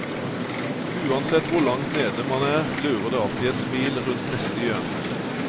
Uansett hvor langt nede man er, lurer det alltid et smil rundt neste hjørne.